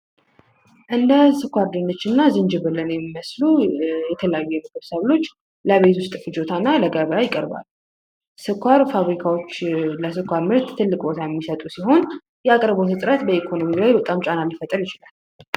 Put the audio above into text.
እንደ ስኳር ድንችና ዝንጅብልና የሚመስሉ የተለያዩ ብዙ ሰብሎች ለቤት ውስጥ ፍጆታ እና ለገበያ ይቀርባል። ስኳር ፋብሪካዎችን ለስኳር ምርት ትልቅ ቦታ የሚሰጡ ሲሆን፤ የአቅርቦት እጥረት በኢኮኖሚያዊ ላይ በጣም ጫና ሊፈጥር ይችላል።